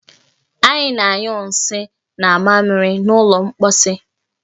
Anyị na-anyụ nsị na mamịrị n'ụlọ mposi